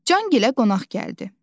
Can Gilə qonaq gəldi.